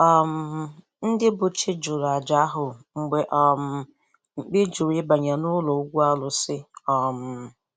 um Ndị bụ Chi jụrụ àjà ahụ mgbe um mkpi jụrụ ịbanye n’ụlọ ugwu arusi. um